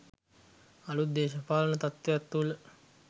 අලුත් දේශපාලන තත්ත්වයන් තුළ